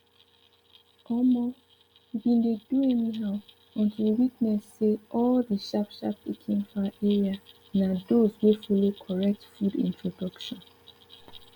omo we bin dey do anyhow until we witness say all the sharpsharp pikin for our area na those wey follow correct food introduction